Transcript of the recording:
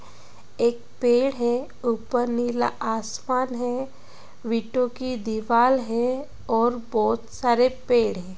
एक पेड़ हे ऊपर नीला आसमान हे वीटो की दिवार हे और बोहोत सारे पेड़ हे ।